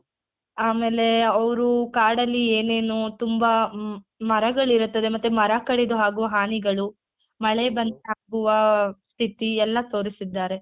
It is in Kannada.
ಆಮೇಲೆ ಅವ್ರು ಕಾಡಲ್ಲಿ ಏನೇನು ತುಂಬಾ ಮರಗಳಿರುತ್ತದೆ ಮತ್ತೆ ಮರ ಕಡಿದು ಹಾಗೂ ಹಾನಿಗಳು ಮಳೆ ಬಂದಾಗುವ ಸ್ಥಿತಿ ಎಲ್ಲ ತೋರಿಸಿದ್ದಾರೆ.